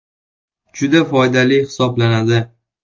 Juda foydali hisoblanadi.